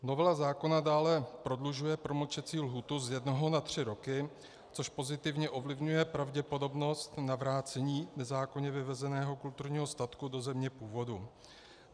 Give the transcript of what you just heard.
Novela zákona dále prodlužuje promlčecí lhůtu z jednoho na tři roky, což pozitivně ovlivňuje pravděpodobnost navrácení nezákonně vyvezeného kulturního statku do země původu.